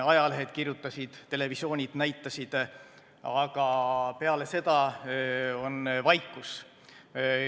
Ajalehed kirjutasid, televisioon näitas, aga peale seda on vaikus.